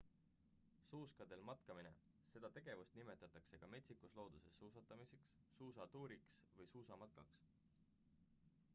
suuskadel matkamine seda tegevust nimetatakse ka metsikus looduses suustamiseks suusatuuriks või suusamatkaks